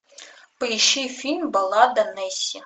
поищи фильм баллада несси